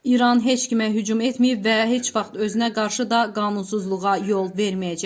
İran heç kimə hücum etməyib və heç vaxt özünə qarşı da qanunsuzluğa yol verməyəcək.